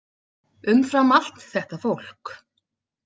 Umfram allt þetta fólk.